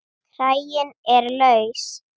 Kraginn er laus.